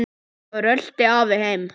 Svo rölti afi heim.